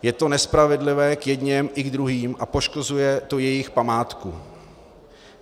Je to nespravedlivé k jedněm i k druhým a poškozuje to jejich památku.